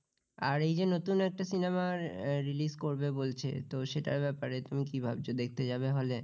আর এই যে নতুন একটা cinema র release করবে বলছে তো সেটার ব্যাপারে তুমি কি ভাবছো দেখতে যাবে হলে?